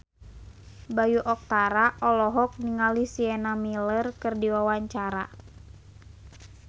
Bayu Octara olohok ningali Sienna Miller keur diwawancara